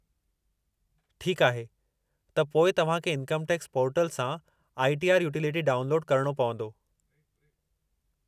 ठीकु आहे, त पोइ तव्हां खे इन्कम टैक्स पोर्टल सां आई. टी. आर. यूटिलिटी डाउनलोडु करणो पवंदो।